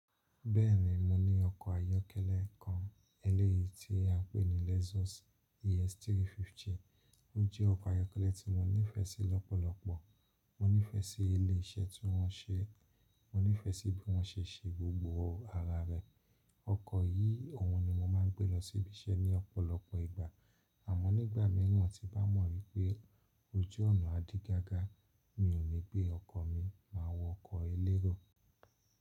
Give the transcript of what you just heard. Bẹ́ẹ̀ni mo ni oko ayọ́kẹ́lẹ́ kan eleyi ti a n peni lexus ES350. Ó jẹ́ ọkọ̀ ayọ́kẹ́lẹ́ tí mo nífẹ̀ẹ́ sí lọ́pọ̀lọpọ̀. Mo nífẹ̀ẹ́ sí ilé iṣẹ́ tí wọ́n ṣe, mo nífẹ̀ẹ́ sí bí wọ́n ṣe ṣe gbogbo ara rẹ̀. Ọkọ̀ yìí, òhun ni mo máa ń gbé lọ síbí iṣẹ́ ní ọ̀pọ̀lọpọ̀ ìgbà. Àmọ́ nígbà míràn tí bá mọ̀ wípé ojú ọ̀nà adí gágá, mi ò ní gbé ọkọ̀ mi máa wọ ọkọ̀ elérò.